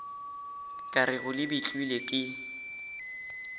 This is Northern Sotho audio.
ka rego le betlilwe ke